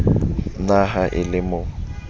na ha e le mo